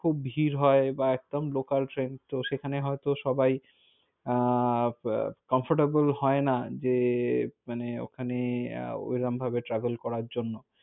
খুব ভীড় হয় বা একদম local train তো সেখানে হয়তো সবাই আহ comfortable হয়না যে মানে, ওখানে ওরম ভাবে travel করার জন্য।